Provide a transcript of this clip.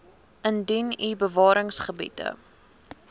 indien u bewaringsgebiede